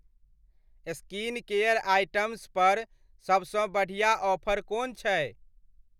Skincare items पर सभसँ बढ़िआँ ऑफर कोन छै?